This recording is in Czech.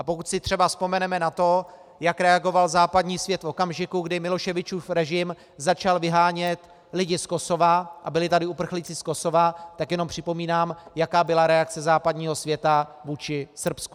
A pokud si třeba vzpomeneme na to, jak reagoval západní svět v okamžiku, kdy Miloševičům režim začal vyhánět lidi z Kosova a byli tady uprchlíci z Kosova, tak jenom připomínám, jaká byla reakce západního světa vůči Srbsku.